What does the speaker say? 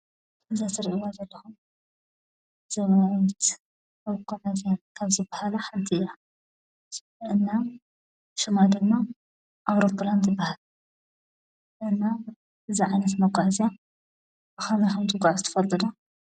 እዛ እትርእዋ ዘለኹም ዘበናዊት መጓዓዝያ ካብ ዝበሃላ ሓንቲ እያ ።እና ስማ ድማ ኣውሮፕላን ትበሃል። እና እዙይ ዓይነት መጉዓዝያ ብከምይ ከም ዝጉዓዝ ትፈልጡ ዶ?